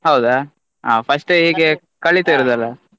ಹೌದಾ ಹಾ first ಗೆ ಹೀಗೆ ಕಲಿತಿರುದಲ್ಲ.